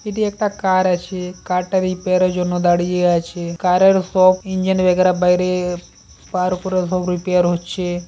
এটি একটা কার আছে কারটা রিপেয়ার এর জন্য জন্য দাঁড়িয়ে আছে কারের সব ইঞ্জিন বেগরা বাইরে তার উপরে সব রিপেয়ার হচ্ছে।